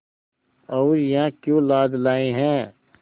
और यहाँ क्यों लाद लाए हैं